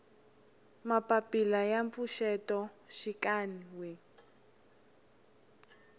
mapapila ya mpfuxeto xikan we